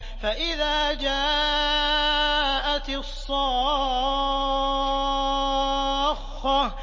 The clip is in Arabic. فَإِذَا جَاءَتِ الصَّاخَّةُ